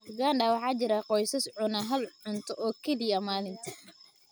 Uganda waxaa jira qoysas cuna hal cunto oo keliya maalintii.